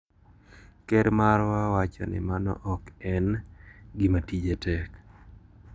Ker marwa wacho ni mano ok en gima tije tek.